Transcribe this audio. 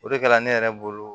O de kɛra ne yɛrɛ bolo